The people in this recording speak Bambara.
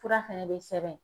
Fura fɛnɛ bɛ sɛbɛn.